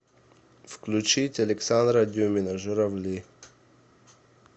включить александра дюмина журавли